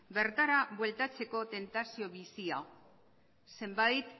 bertara bueltatzeko tentazio bizia zenbait